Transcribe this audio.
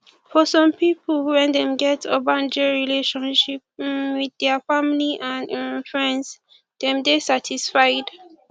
for some pipo when dem get ogbonge relationship um with their family and um friends dem dey satisfied